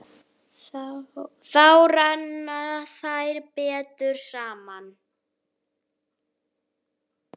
Þá renna þær betur saman.